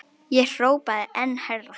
Ég hrópaði enn hærra.